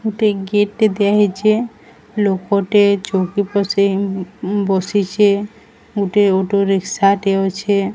ଗୋଟେ ଗିଫ୍ଟି ଦିଆହେଇଚି। ଲୋକଟେ ଚୋଉକି ପସେଇ ବସିଚି ଗୋଟିଏ ଗୋଟେ ରିକ୍ସା ଟେ ଅଛେ।